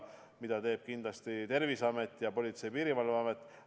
Seda aitavad kindlasti teha Terviseamet ning Politsei- ja Piirivalveamet.